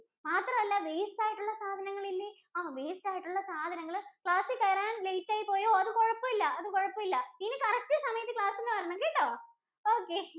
മാത്രല്ല waste ആയിട്ടുള്ള സാധനങ്ങൾ ഇല്ലേ? ആ waste ആയിട്ടുള്ള സാധനങ്ങൾ class ൽ കേറാൻ late ആയി പോയോ? അത് കൊഴപ്പയില്ല കൊഴപ്പയില്ല ഇനി correct സമയത്ത് class നു വരണം കേട്ടോ. Okay